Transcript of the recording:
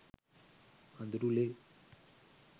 අඳුරු ලේ